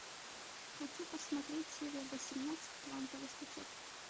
хочу посмотреть серия восемнадцать квантовый скачок